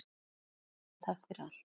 Elsku Lára, takk fyrir allt.